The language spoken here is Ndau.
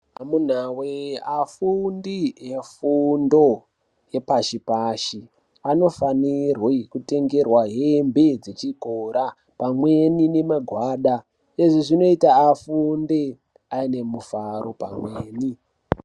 Amunawe afundi efundo yepashi pashi anofanirwe kutengerwa hembe dzechikora pamweni nemagwada izvizvinoita afunde anemufaro pamweni.